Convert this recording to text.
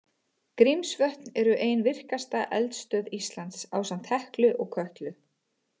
Grímsvötn eru ein virkasta eldstöð Íslands, ásamt Heklu og Kötlu.